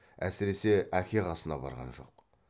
әсіресе әке қасына барған жоқ